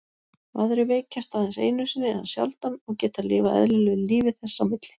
Aðrir veikjast aðeins einu sinni eða sjaldan og geta lifað eðlilegu lífi þess á milli.